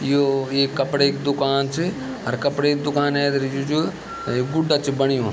यो एक कपड़े की दुकान च और कपड़े की दुकान ऐथर जो जो गुड्डा च बणयूं।